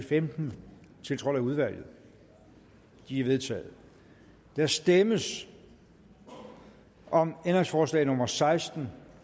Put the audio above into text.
femten tiltrådt af udvalget de er vedtaget der stemmes om ændringsforslag nummer seksten